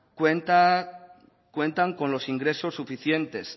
cuentan con los ingresos suficientes